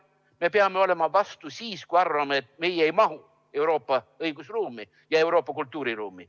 Me peame olema vastu siis, kui arvame, et me ei mahu Euroopa õigusruumi ja Euroopa kultuuriruumi.